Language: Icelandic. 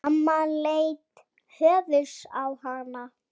Amma leit hvöss á hann.